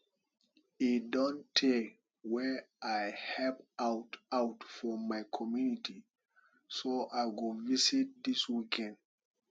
e don tey wey i help out out for my community so i go visit dis weekend